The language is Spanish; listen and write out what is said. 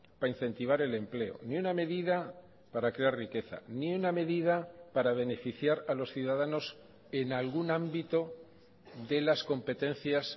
para incentivar el empleo ni una medida para crear riqueza ni una medida para beneficiar a los ciudadanos en algún ámbito de las competencias